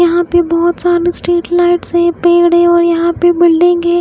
यहां पे बहोत सारे स्ट्रीट लाइट्स है पेड़ है और यहां पे बिल्डिंग है।